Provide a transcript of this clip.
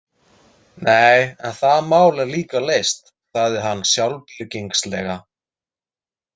Nei, en það mál er líka leyst, sagði hann sjálfbirgingslega.